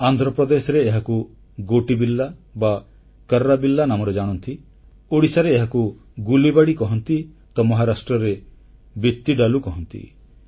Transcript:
ଆନ୍ଧ୍ରପ୍ରଦେଶରେ ଏହାକୁ ଗୋଟିବିଲ୍ଲା ବା କର୍ରାବିଲ୍ଲା ନାମରେ ଜାଣନ୍ତି ଓଡ଼ିଶାରେ ଏହାକୁ ଗୁଲିବାଡି କହନ୍ତି ତ ମହାରାଷ୍ଟ୍ରରେ ବିତିଡାଲୁ କହନ୍ତି